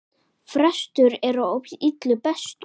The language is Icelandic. Frestur er á illu bestur!